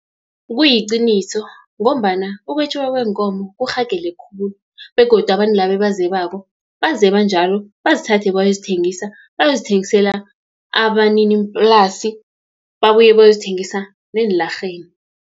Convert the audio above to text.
Kuyiqiniso ngombana ukwetjiwa kweenkomo kurhagele khulu, begodu abantu laba ebazebako bazeba njalo, bazithathe bayozithengisa, bayozithengisela abaniniplasi, babuye bayozithengisa eenlarheni.